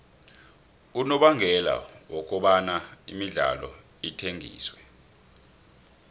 unobangela wokobana imidlalo ithengiswe